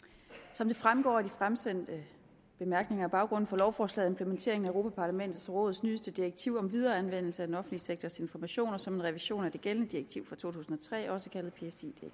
som det fremgår af de fremsendte bemærkninger er baggrunden for lovforslaget implementeringen af europa parlamentets og rådets nyeste direktiv om videreanvendelse af den offentlige sektors informationer som en revision af det gældende direktiv fra to tusind og tre også kaldet psi